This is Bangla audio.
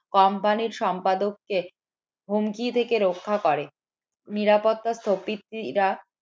company র সম্পাদক কে হুমকি থেকে রক্ষা করে। নিরাপত্তা